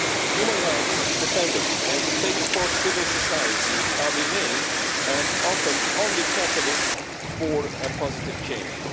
Human rights defenders and space for civil society are the main and often only catalysts for positive change.